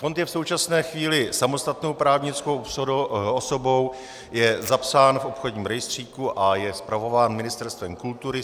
Fond je v současné chvíli samostatnou právnickou osobou, je zapsán v obchodním rejstříku a je spravován Ministerstvem kultury.